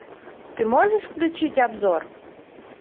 ты можешь включить обзор